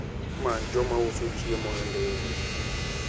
Many joma uso chiemo e nderni.